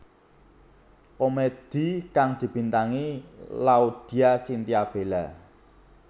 Komedi kang dibintangi Laudya Chintya Bella